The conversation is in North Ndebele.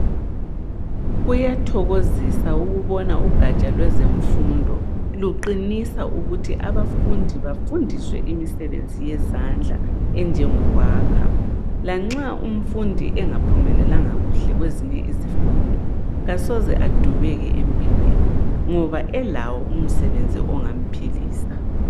Kuyathokozisa ukubona ugatsha lwezemfundo luqinisa ukuthi abafundi bafundiswe imisebenzi yezandla enjengokwakha lanxa umfundi engaphumelelanga kuhle kwezemfundo kasoze adubeke ngoba elawo umsebenzi ongamphilisa.